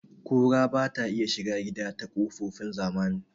Ƙura bata iya shiga gida ta kokofin zamani